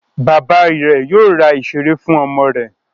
Bàbá rẹ̀ yóò ra ìṣeré fún ọmọ rẹ̀.